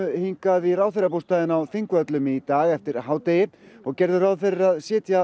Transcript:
hingað í ráðherrabústaðinn á Þingvöllum í dag eftir hádegi og gerðu ráð fyrir að sitja